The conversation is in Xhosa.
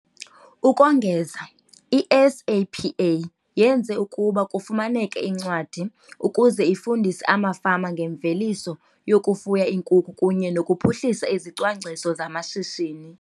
Ukongeza, i-SAPA yenze ukuba kufumaneke incwadi ukuze ifundise amafama ngemveliso yokufuya iinkukhu kunye nokuphuhlisa izicwangciso zamashishini